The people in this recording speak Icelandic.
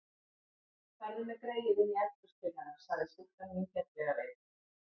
Farðu með greyið inní eldhús til hennar, sagði stúlkan vingjarnlega við